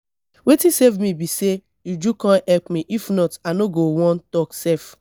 wetin save me be say uju come help me if not i no go wan talk sef